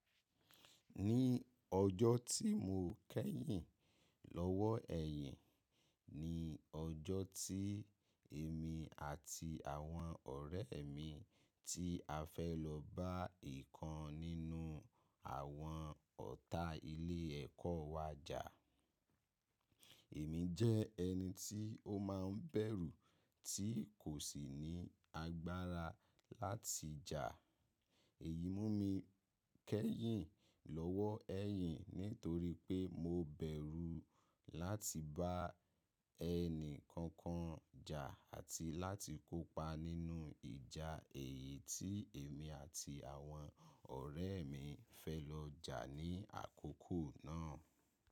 Ní ọjọ́ tí mo kẹ́yìn lọ́ wọ́ ẹ̀yìn, ni ọjọ́ tí èmi àti àwọn ọ̀rẹ́ mi tí a fẹ́ lọ bá ìkan nínú àwọn ọ̀ta ilé ẹ̀kọ́ wa jà. Èmi jẹ́ ẹni tí ó máa ń bẹ̀rù tí kò sì ní agbára láti jà. Èyí múmi kẹ́yìn lọ́wọ́ ẹ̀yìn nítorípé mo bẹ̀rù láti bá ẹni kankan jà àti láti kópa nínú ìjà èyí tí èmi àti àwọn ọ̀rẹ́ mi fẹ́ lọ jà ní àkókò náà.